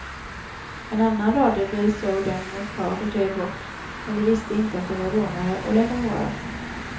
En annan radiobil såg dem ett par kvarter bort, men de visste inte att de var rånare och lät dem vara.